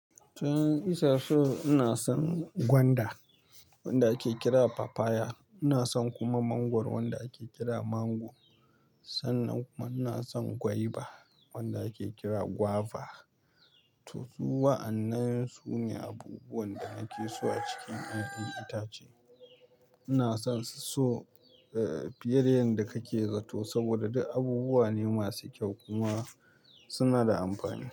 Toh, 'yayan itatu ina son gwanda wanda ake kira papaya. Ina son kuma mangwaro wanda ake kira mango. Sannan kuma ina son gwaiba wanda ake kira guava. To su wa an nan su ne abubuwan da nake so a cikin yayan itace. Ina son su so, eh, fiye da yanda kake zato saboda duk abubuwa ne masu kyau kuma suna da amfani.